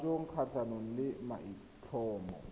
ga jaanong kgatlhanong le maitlhomo